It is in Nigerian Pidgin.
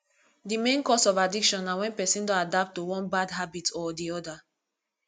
di main cause of addiction na when person don adapt to one bad habit or di other